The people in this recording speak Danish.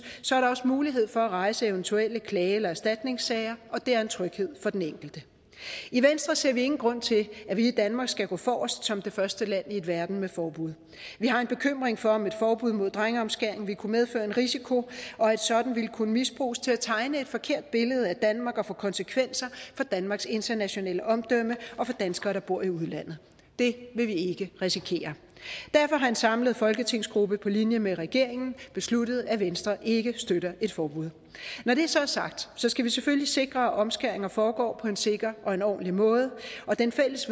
også mulighed for at rejse eventuelle klage eller erstatningssager og det er en tryghed for den enkelte i venstre ser vi ingen grund til at vi i danmark skal gå forrest som det første land i verden med et forbud vi har en bekymring for at et forbud mod drengeomskæring vil kunne medføre en risiko og at et sådant vil kunne misbruges til at tegne et forkert billede af danmark og få konsekvenser for danmarks internationale omdømme og for danskere der bor i udlandet det vil vi ikke risikere derfor har en samlet folketingsgruppe på linje med regeringen besluttet at venstre ikke støtter et forbud når det så er sagt skal vi selvfølgelig sikre at omskæringer foregår på en sikker og ordentlig måde og det fælles